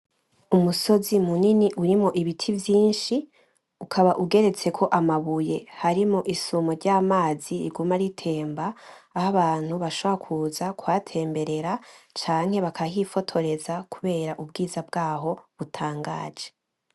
Umusozi munini urimwo ibiti vyinshi ukaba ugeretseko amabuye harimo isumo ry’amazi riguma ritemba aho abantu bashobora kuza kuhatemberera canke bakahifotoreza kubera ubwiza bwaho butangaje.